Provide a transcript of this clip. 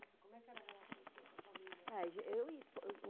Nossa, como é que era a relação sua com a família?